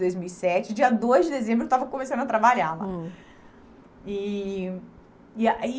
dois mil e sete. Dia dois de dezembro eu estava começando a trabalhar lá. Hum. E e aí